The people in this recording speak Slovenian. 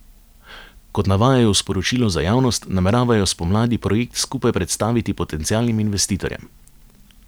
Kot navajajo v sporočilu za javnost, nameravajo spomladi projekt skupaj predstaviti potencialnim investitorjem.